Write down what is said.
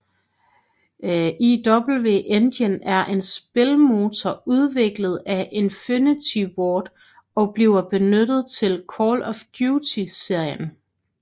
IW Engine er en spilmotor udviklet af Infinity Ward og bliver benyttet til Call of Duty serien